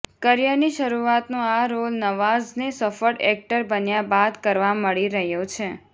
કરિયરની શરૂઆતનો આ રોલ નવાઝને સફળ એક્ટર બન્યા બાદ કરવા મળી રહ્યો છે